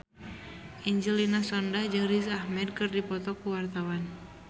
Angelina Sondakh jeung Riz Ahmed keur dipoto ku wartawan